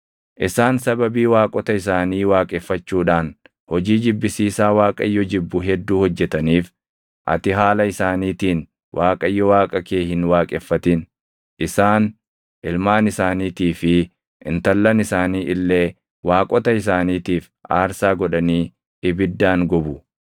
Isaan sababii waaqota isaanii waaqeffachuudhaan hojii jibbisiisaa Waaqayyo jibbu hedduu hojjetaniif, ati haala isaaniitiin Waaqayyo Waaqa kee hin waaqeffatin. Isaan ilmaan isaaniitii fi intallan isaanii illee waaqota isaaniitiif aarsaa godhanii ibiddaan gubu.